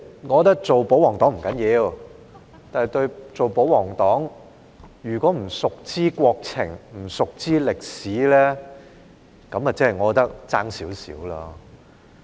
我覺得做保皇黨不要緊，但做保皇黨又不熟知國情和歷史，我便覺得差了一點點。